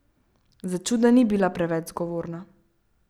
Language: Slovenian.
Začuda ni bila preveč zgovorna.